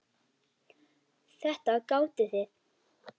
Þetta gátuð þið.